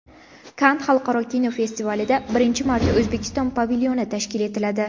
Kann xalqaro kinofestivalida birinchi marta O‘zbekiston pavilyoni tashkil etiladi.